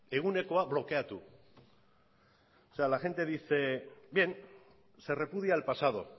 egunekoa blokeatu la gente dice bien se repudia al pasado